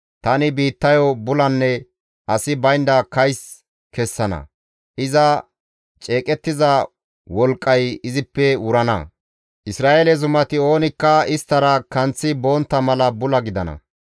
Tani biittayo bulanne asi baynda kays kessana; iza ceeqettiza wolqqay izippe wurana; Isra7eele zumati oonikka izara kanththi bontta mala bula gidana.